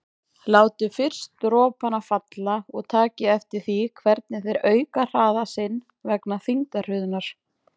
Látið fyrst dropana falla og takið eftir því hvernig þeir auka hraða sinn vegna þyngdarhröðunar.